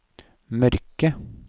mørke